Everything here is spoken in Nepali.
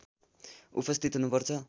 उपस्थित हुनुपर्छ